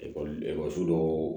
Ekɔli ekɔliso dɔw